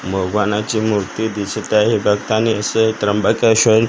भगवानाची मूर्ती दिसत आहे बघतानी असं त्र्यंबकेश्वर--